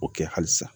O kɛ halisa